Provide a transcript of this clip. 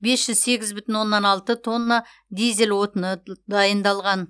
бес жүз сегіз бүтін оннан алты тонна дизель отыны дайындалған